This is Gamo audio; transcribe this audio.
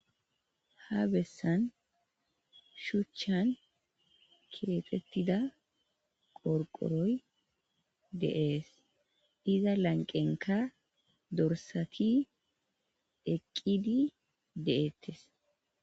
Ha bessan shuchchan keexettida qorqoroy deees iza lanqenka dorsati eqqidi de,ettes.